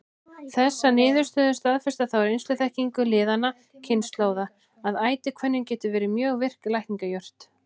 Þessar niðurstöður staðfesta þá reynsluþekkingu liðinna kynslóða, að ætihvönnin getur verið mjög virk lækningajurt.